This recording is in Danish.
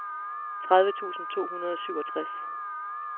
tredive tusind to hundrede og syvogtres